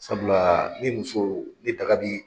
Sabula ni muso ni daga bi.